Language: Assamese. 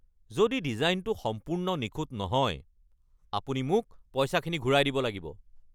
যদি ডিজাইনটো সম্পূৰ্ণ নিখুঁত নহয়, আপুনি মোক পইচাখিনি ঘূৰাই দিব লাগিব।